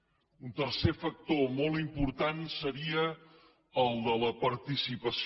un tercer factor molt important seria el de la participació